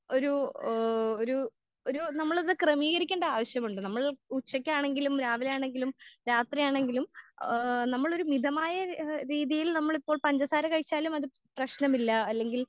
ഒരു ഏഹ് ഒരു ഒരു നമ്മളിത് ക്രെമീകരിക്കേണ്ട ആവശ്യമുണ്ട് നമ്മൾ ഉച്ചക്ക് ആണെങ്കിലും രാവിലെ ആണെങ്കിലും രാത്രി ആണെങ്കിലും ഏഹ് നമ്മളൊരു മിതമായ എഹ് രീതിയിൽ നമ്മളിപ്പോൾ പഞ്ചസാര കഴിച്ചാലും അത് പ്രേശ്നമില്ല അല്ലെങ്കിൽ